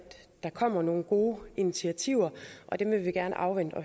der kommer nogle gode initiativer og dem vil vi gerne afvente